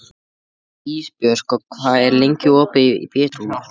Ísbjörg, hvað er lengi opið í Pétursbúð?